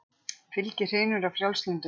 Fylgið hrynur af frjálslyndum